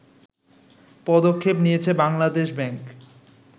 পদক্ষেপ নিয়েছে বাংলাদেশ ব্যাংক